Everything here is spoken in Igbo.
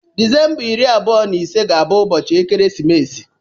Disemba iri abụọ na ise ga-abụ ụbọchị ekeresimesi